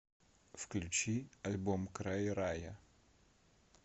включи альбом край рая